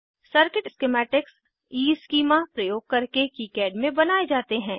circuit schematics Eeschema प्रयोग करके KiCad में बनाये जाते हैं